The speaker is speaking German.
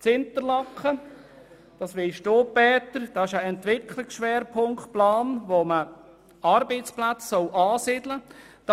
In Interlaken besteht ein Entwicklungsschwerpunktplan, und dort sollen Arbeitsplätze angesiedelt werden.